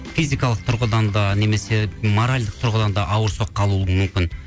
физикалық тұрғыдан да немесе моральдық тұрғыдан да ауыр соққы алуы мүмкін